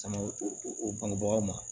baganw ma